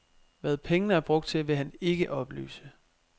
Hvad pengene er brugt til, vil han ikke oplyse.